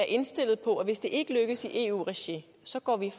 indstillet på at hvis det ikke lykkes i eu regi så går vi